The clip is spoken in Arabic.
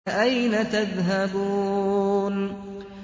فَأَيْنَ تَذْهَبُونَ